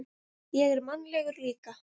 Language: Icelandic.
Ég er mannlegur líka.